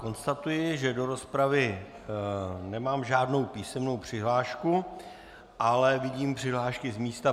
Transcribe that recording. Konstatuji, že do rozpravy nemám žádnou písemnou přihlášku, ale vidím přihlášky z místa.